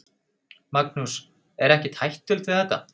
Magnús: Og ekkert hættulegt við þetta?